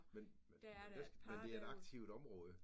Men men hvad skal men det er et aktivt område